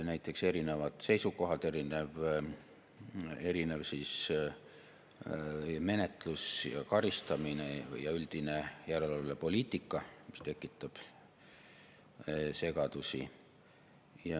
Näiteks erinevad seisukohad, erinev menetlus ja karistamine ning üldine järelevalvepoliitika tekitab segadusi.